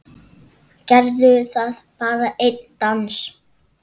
Gerðu það, bara einn dans.